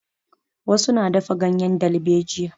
Wasu na dafa ganyen dalbejiya.